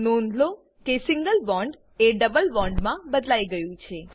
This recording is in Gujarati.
નોંધ લો કે સિંગલ બોન્ડ એ ડબલ બોન્ડ મા બદલાઈ ગયું છે